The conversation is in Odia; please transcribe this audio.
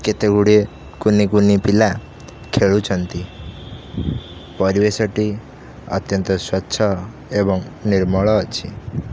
କେତେ ଗୁଡିଏ କୁନି କୁନି ପିଲା ଖେଲୁଚନ୍ତି ପରିବେଶ ଟି ଅତ୍ୟନ୍ତ ସ୍ୱଚ୍ଛ ଏଵଂ ନିର୍ମଳ ଅଛି।